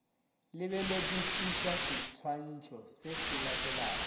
lebeledišiša seswantšho se se latelago